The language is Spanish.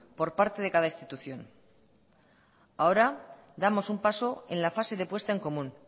por parte de cada institución ahora damos un paso en la fase de puesta en común